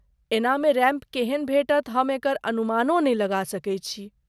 एहनामे ramp केहन भेटत हम एकर अनुमानो नहि लगा सकैत छी।